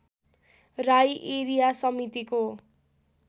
Rai area समितिको